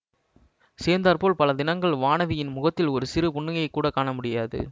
சேர்ந்தாற்போல் பல தினங்கள் வானதியின் முகத்தில் ஒரு சிறு புன்னகையைக்கூடக் காணமுடியாது